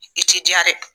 I t'i diya dɛ